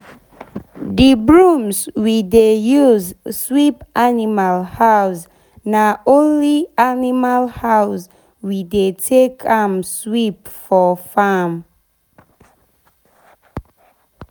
d brooms we de use sweep animal house na only animal house we dey take am sweep for farm.